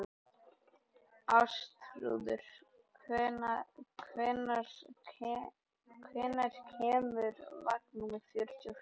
Ástþrúður, hvenær kemur vagn númer fjörutíu og fjögur?